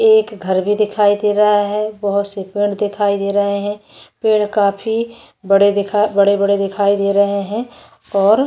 एक घर भी दिखाई दे रहा है बहुत से पेड दिखाई दे रहे है पेड़ काफी बड़े दिखा बड़े बड़े दिखाई दे रहे है और --